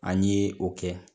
An ye o kɛ